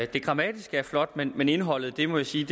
det grammatiske er flot men men indholdet er må jeg sige